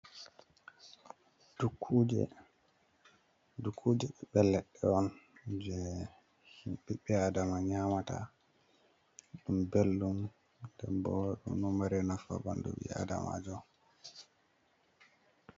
Dukkuje. Dukkuje ɓiɓɓe leɗɗe on je biɓɓe aadama nyamata, ɗum bel ɗum denbo ɗo nafa ɓandu ɓi aadama jo.